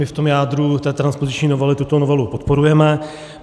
My v tom jádru té transpoziční novely tuto novelu podporujeme.